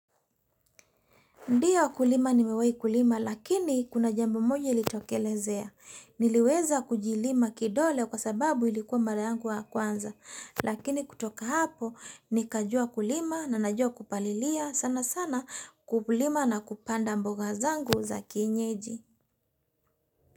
Ndiyo kulima nimewai kulima lakini kuna jambo moja ilitokelezea. Niliweza kujilima kidole kwa sababu ilikuwa mara yangu wa kwanza. Lakini kutoka hapo nikajua kulima na najua kupalilia sana sana kulima na kupanda mboga zangu za kienyeji.